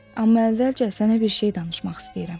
Amma əvvəlcə sənə bir şey danışmaq istəyirəm.